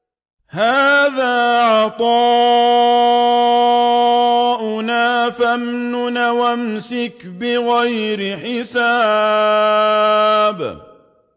هَٰذَا عَطَاؤُنَا فَامْنُنْ أَوْ أَمْسِكْ بِغَيْرِ حِسَابٍ